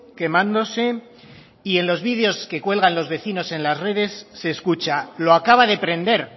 quemándose y en los vídeos que cuelgan los vecinos en las redes se escucha lo acaba de prender